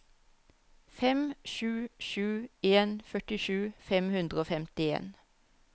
fem sju sju en førtisju fem hundre og femtien